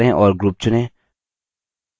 दायाँ click करें और group चुनें